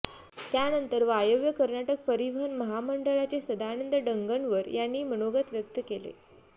त्यानंतर वायव्य कर्नाटक परिवहन महामंडळाचे सदानंद डंगनवर यांनी मनोगत व्यक्त केले